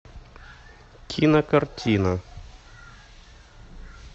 кинокартина